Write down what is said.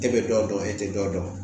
E bɛ dɔ dɔn e tɛ dɔ dɔn